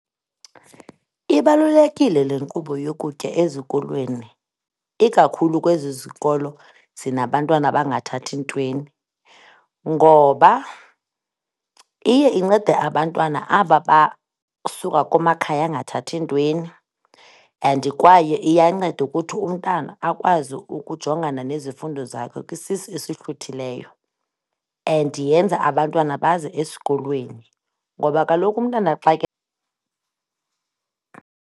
Ibalulekile le nkqubo yokutya ezikolweni ikakhulu kwezi zikolo zinabantwana abangathathi ntweni ngoba iye incede abantwana aba basuka kumakhaya angathathi ntweni and kwaye iyanceda ukuthi umntana akwazi ukujongana nezifundo zakhe kwisisu esihluthileyo, and yenza abantwana baze esikolweni ngoba kaloku umntwana xa ke .